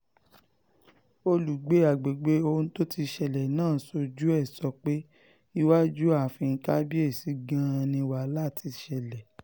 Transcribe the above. olùgbé àgbègbè ọ̀hún tíṣẹ̀lẹ̀ náà ṣojú ẹ̀ sọ pé iwájú ààfin kábíyèsí gan-an ni wàhálà ti ṣẹlẹ̀